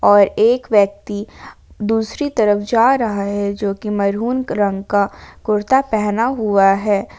और एक व्यक्ति दूसरी तरफ जा रहा है जो कि मैरून रंग का कुर्ता पहना हुआ है।